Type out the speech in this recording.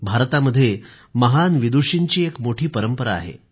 भारतामध्ये महान विदुषींची एक मोठी परंपरा आहे